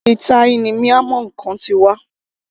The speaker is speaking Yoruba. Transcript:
Àti ilẹ̀ thai ni miamg Khan ti wá